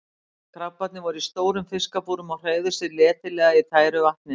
Krabbarnnir voru í stórum fiskabúrum og hreyfðu sig letilega í tæru vatninu.